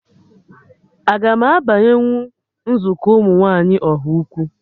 Aga m abanyenwu nzukọ ụmụ nwaanyị Ọhaukwu?